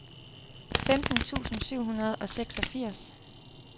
femten tusind syv hundrede og seksogfirs